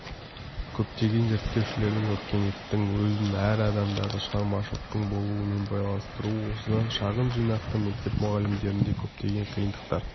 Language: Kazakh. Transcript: көптеген зерттеушілер өркениеттің өзін әр адамдағы шығармашылықтың болуымен байланыстыруы осыдан шағын жинақты мектеп мұғалімдерінде көптеген қиындықтар